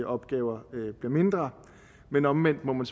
opgaver blive mindre men omvendt må man